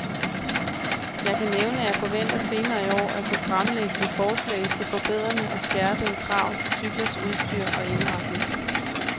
Jeg kan nævne, at jeg forventer senere i år at kunne fremlægge et forslag til forbedrende og skærpede krav til cyklers udstyr og indretning.